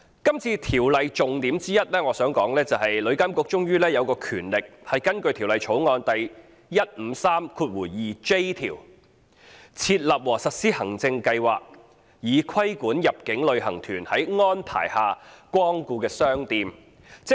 《條例草案》的重點之一，是旅監局終於有權根據《條例草案》第 1532j 條，"設立和實施行政計劃，以規管入境旅行團在安排下光顧的商店"。